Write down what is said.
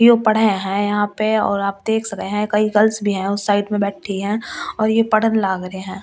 ये पढ़े हैं यहां पे और आप देख सक रहे हैं कई गर्ल्स भी हैं उस साइड में बैठी हैं और ये लग रहे हैं।